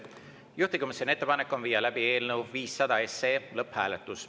Juhtivkomisjoni ettepanek on viia läbi eelnõu 500 lõpphääletus.